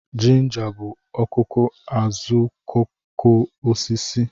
Ginger bụ ọkụkụ azuokokoosisi